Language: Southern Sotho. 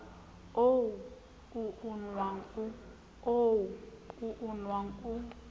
oo o o nwang o